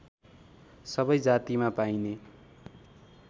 सबै जातिमा पाइने